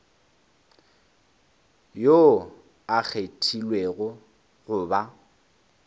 yoo a kgethilwego go ba